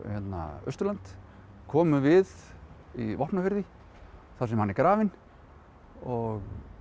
Austurland komum við í Vopnafirði þar sem hann er grafinn og